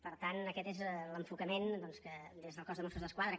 per tant aquest és l’enfocament doncs que des del cos de mossos d’esquadra